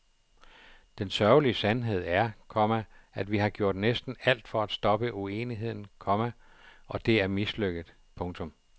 Den sørgelige sandhed er, komma at vi har gjort næsten alt for at stoppe uenigheden, komma og det er mislykket. punktum